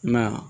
Nga